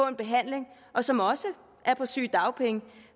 en behandling og som også er på sygedagpenge